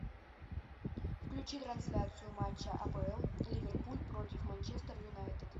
включи трансляцию матча апл ливерпуль против манчестер юнайтед